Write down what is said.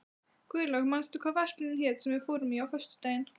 Guðlaug, manstu hvað verslunin hét sem við fórum í á föstudaginn?